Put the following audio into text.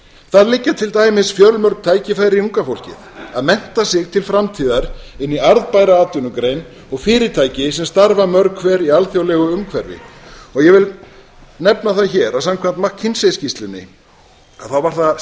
það liggja til dæmis fjölmörg tækifæri í ungu fólki að mennta sig til framtíðar inn í arðbæra atvinnugrein og fyrirtæki sem starfa mörg hver í alþjóðlegu umhverfi ég vil nefna það hér að samkvæmt mckinsey skýrslunni var það